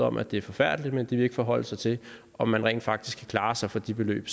om at det er forfærdeligt men de vil ikke forholde sig til om man rent faktisk kan klare sig for de beløb